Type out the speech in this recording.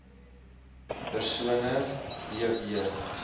persone d w